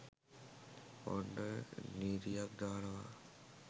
ඔන්න නීතියක් දානවා